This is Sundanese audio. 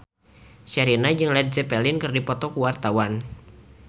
Sherina jeung Led Zeppelin keur dipoto ku wartawan